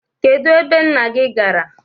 Kedu ebe nna gị gara?